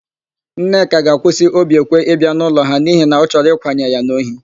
Nneka ga-akwụsị Obiekwe ịbịa n'ụlọ ha n'ihi na ọ chọrọ ịkwanye ya n'ohi.